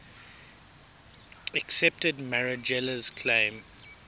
accepted marangella's claim